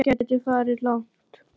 Þetta gæti farið langt.